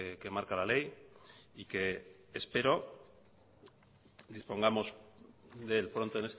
que marca la ley y que espero dispongamos de él pronto